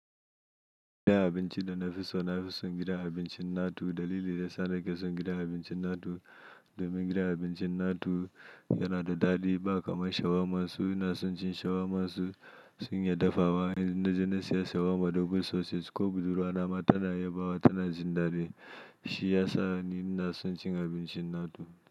Gidan abinci da nafi so, nafi son gidan abincin na tu. Dalili da ya sa nake son gidan abincin NATO domin gidan abincin natu yana da ɗadi ba kaman shawarman su Su ina son cin shawarma su sun iya dafawa. Idan na je na siya shawarma double sausage ko budurwana ma tana yabawa tana jin daɗi. Shi ya sa ni ina son cin abincin NATO.